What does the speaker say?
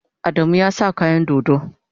Adamu ya sa kayan dodo.